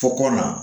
Fɔkɔ la